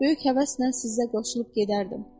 Böyük həvəslə sizə qoşulub gedərdim.